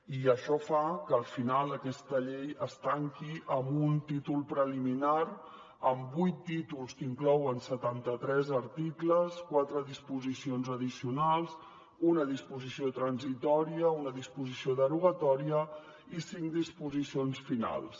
i això fa que al final aquesta llei es tanqui amb un títol preliminar amb vuit títols que inclouen setanta tres articles quatre disposicions addicionals una disposició transitòria una disposició derogatòria i cinc disposicions finals